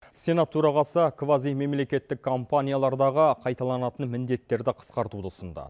сенат төрағасы квазимемлекеттік компаниялардағы қайталанатын міндеттерді қысқартуды ұсынды